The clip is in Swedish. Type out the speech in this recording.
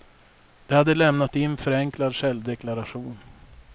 De hade lämnat in förenklad självdeklaration.